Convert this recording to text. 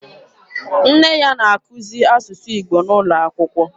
Nne ya na-akuzi asụsụ Igbo N'ụlọakwụkwọ.